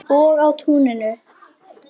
Og á túninu.